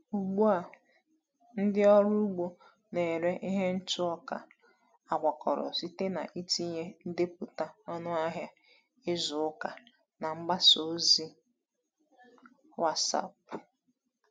Ugbu a, ndị ọrụ ugbo na-ere ihe ntụ ọka a gwakọrọ site n’itinye ndepụta ọnụahịa izu ụka na mgbasa ozi WhatsApp.